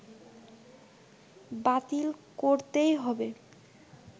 বাতিল করতেই হবে